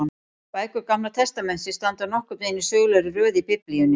Bækur Gamla testamentisins standa nokkurn veginn í sögulegri röð í Biblíunni.